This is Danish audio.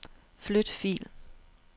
Flyt fil.